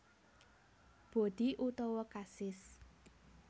Bodi utowo kasis